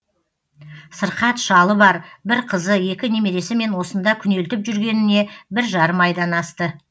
сырқат шалы бар бір қызы екі немересімен осында күнелтіп жүргеніне бір жарым айдан асты